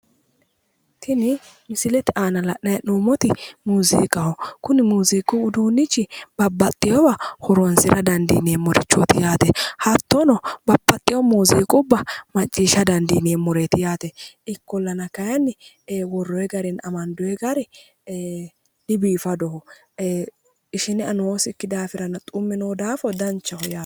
Tini misilete aana la'nayi he'noomoti muuziqaho kuni muuziqu uduunnichi babbaxewowa horonisira danidiinemorixhoot yaate hattono babbaxewo muuziiqqubba maciisha danidiinemoreet yaate ikkollanna kaayinni worroy garinna amanidoy gar dibiifadoho ishine ea noosikki daafonna xumme noosi daafo dannichaho yaate